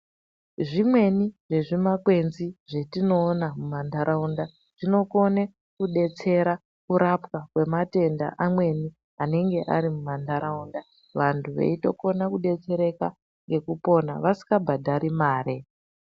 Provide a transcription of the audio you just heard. Zvimweni zvezvi kwenzi zvetinoona muma nharaunda zvinokone kudetsera kurapwa kwematenda amweni anenge ari muma nharaunda vantu veitokona kudetsereka nekupona vasika bhadhari mare.